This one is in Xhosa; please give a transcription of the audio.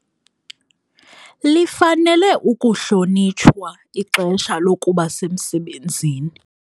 Lifanele ukuhlonitshwa ixesha lokuba semsebenzini.